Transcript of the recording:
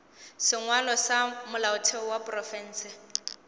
sengwalwa sa molaotheo wa profense